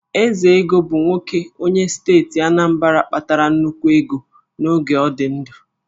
Ezego bụ nwoke onye steeti Anambra kpatara nnukwu ego n'oge ọ dị ndụ